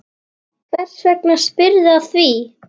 Hvers vegna spyrðu að því?